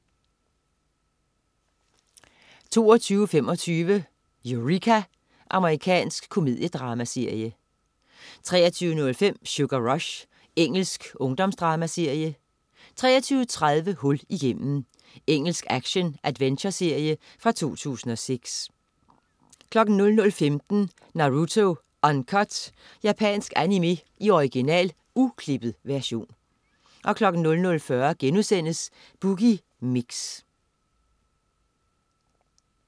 22.25 Eureka. Amerikansk komediedramaserie 23.05 Sugar Rush. Engelsk ungdomsdramaserie 23.30 Hul igennem. Engelsk action-adventureserie fra 2006 00.15 Naruto Uncut. Japansk animé i original, uklippet version 00.40 Boogie Mix*